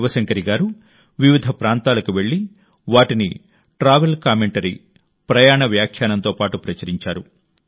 శివశంకరీ గారు వివిధ ప్రాంతాలకు వెళ్లి వాటిని ట్రావెల్ కామెంటరీ ప్రయాణ వ్యాఖ్యానంతో పాటు ప్రచురించారు